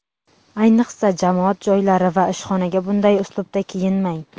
Ayniqsa, jamoat joylari va ishxonaga bunday uslubda kiyinmang.